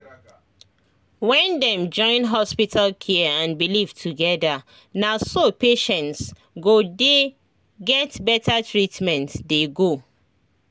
when dem join hospital care and belief together naso patients go dey get better treatment dey go